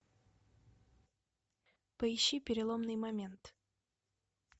поищи переломный момент